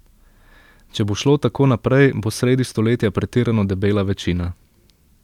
Če bo šlo tako naprej, bo sredi stoletja pretirano debela večina.